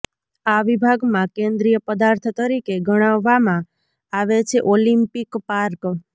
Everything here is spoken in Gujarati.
આ વિભાગમાં કેન્દ્રીય પદાર્થ તરીકે ગણવામાં આવે છે ઓલિમ્પિક પાર્ક